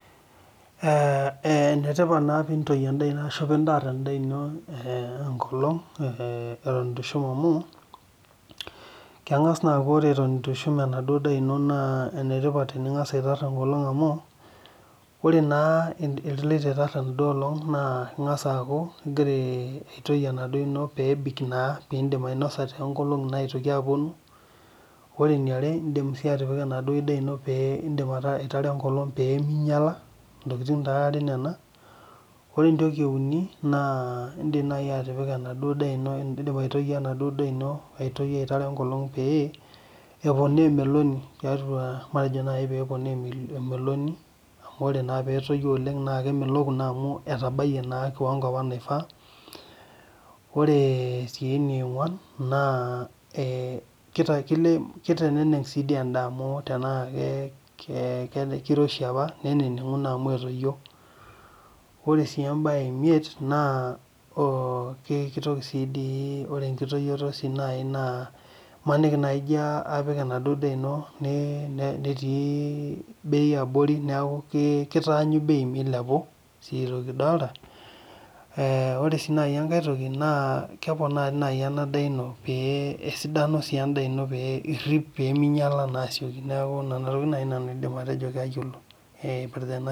Ee enetipat peintosh endaa ino enkolong atan itushum endaa ino amu enetipat pingasa aitoosh endaa ino enkolong amu ore na ingasa aamu ingasa aitoy pitum ainosa tonkolongi nagira aponu ore eniare indim atipik enaduo daa ino aitar enkolong pemeinyala, ntokitin are nona ore entoki euni na indim nai atipika emaduo daa ino pepona emolni amu ore petoyu oleng na keponaa emeloni amu etabalie na kiwango apa naifaa ore si eneonguan na kiteneneng si endaa amu tanaa kiroshi apa nenengu ore si embae emiet naa kitoki si duo ore enkitoyioto na imanini etii nei abori neaku kitaanyu bei meilepu ore si enkae toki na keponaa enadaa inao nirip peminyala asioki nindim atejo kayiolo epirta enasiai